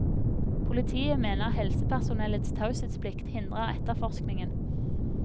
Politiet mener helsepersonellets taushetsplikt hindrer etterforskningen.